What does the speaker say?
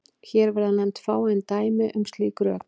Hér verða nefnd fáein dæmi um slík rök.